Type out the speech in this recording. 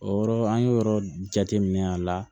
O yɔrɔ an y'o yɔrɔ jate minɛ a la